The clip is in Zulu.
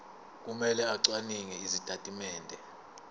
kumele acwaninge izitatimende